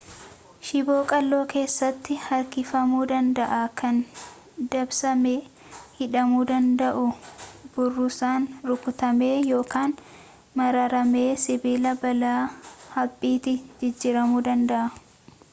shiboo qalloo keessatti harkifamuu danda'a kan dabsamee hidhamuu danda'u burrusaan rukutamee yookaan maramee sibiila bal'aa haphiitti jijjiiramuu danda'a